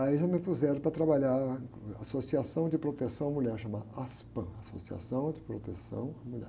Aí já me puseram para trabalhar na Associação de Proteção à Mulher, chama aspam, Associação de Proteção à Mulher.